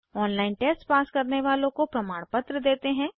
online test pass करने वालों को प्रमाणपत्र देते हैं